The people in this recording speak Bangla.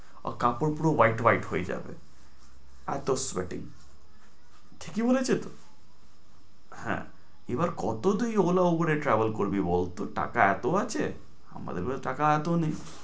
কাপড় গুলো white white হয়ে যাবে। এত sweating । ঠিকই বলেছে তো, হ্যাঁ এবার কত তুই ওগুলা পরে travel করবি বল, তোর টাকা এত আছে? আমাদের কাছে টাকা এত নেই।